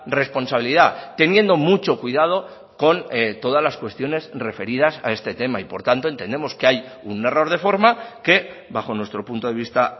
responsabilidad teniendo mucho cuidado con todas las cuestiones referidas a este tema y por tanto entendemos que hay un error de forma que bajo nuestro punto de vista